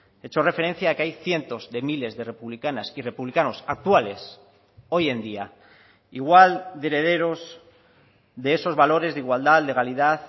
he hecho referencia a que hay cientos de miles de republicanas y republicanos actuales hoy en día igual de herederos de esos valores de igualdad legalidad